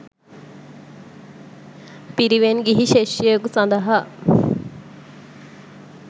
පිරිවෙන් ගිහි ශිෂ්‍යයකු සඳහා